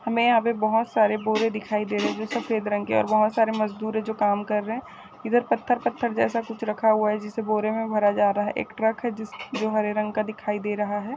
हमे यहाँ पे बहुत सरे बोरे दिखाई दे रहे है जो सफ़ेद रंग के है और बहुत सारे मजदुर है जो काम कर रहे है इधर पत्थर-पत्थर जैसा कुछ रखा हुआ है जिसे बोरे में भरा जा रहा है एक ट्रक है जो हरे रंग का दिखाई दे रहा है।